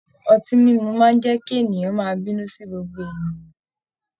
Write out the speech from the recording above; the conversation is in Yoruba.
Ọtí mímu máa n jẹ kí èèyàn máa bínú sí gbogbo ènìyàn.